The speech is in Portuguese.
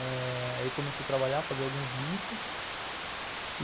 Eh... Ele começou a trabalhar, a fazer alguns bicos.